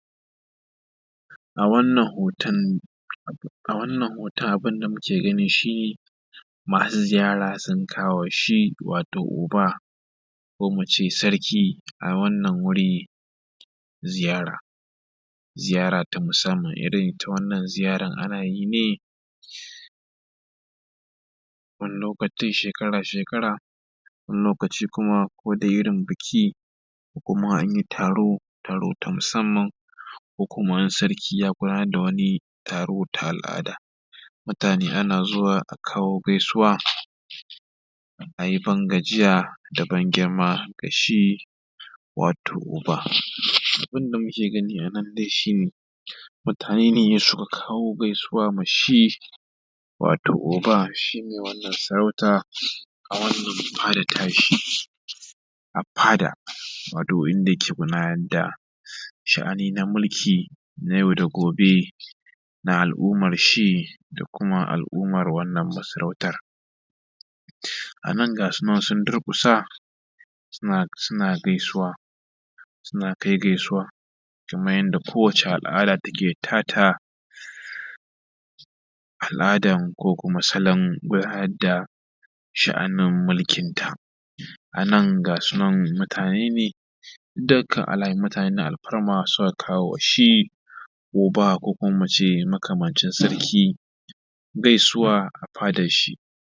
a wannan hoton, a wannan hoton abin da muke gani shi, masu ziyara sun kawo ma shi wato oba ko mu ce sarki, a wannan wuri ziyara. Ziyara ta musamman irin ita wannan ziyaran ana yi ne wani lokatai shekara-shekara, wani lokaci kuma kadai irin biki. ko kuma an yi taro, taro ta musamman ko kuma sarki ya gudanar da wani taro ta al’ada. Mutane ana zuwa a kawo gaisuwa a yi ban gajiya da ban-girma ga shi wato oba. Abin da muke gani a nan dai shi ne, mutane ne suka kawo gaisuwa ma shi wato oba si ne wannan sarauta a wannan fada ta shi a fada, wato wuri da yake gudanar da sha’ani na mulki na yau da gobe na al’umar shi, da kuma al’umar wannan masarauta. A nan ga su nan sun durƙusa suna suna gaisuwa, suna kai gaisuwa kamar kowace al’ada take ta ta. Al’adan ko kuma salon gudanar da sha’anin mulkin ta. A nan ga su nan mutane ne duk dai kam mutane ne na alfarma suka kawo wa shi oba kamacin sarki gaisuwa a fadar shi.